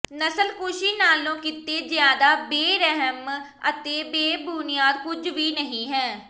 ਨਸਲਕੁਸ਼ੀ ਨਾਲੋਂ ਕਿਤੇ ਜ਼ਿਆਦਾ ਬੇਰਹਿਮ ਅਤੇ ਬੇਬੁਨਿਆਦ ਕੁਝ ਵੀ ਨਹੀਂ ਹੈ